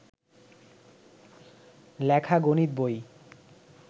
লেখা গণিত বই